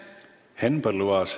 Henn Põlluaas.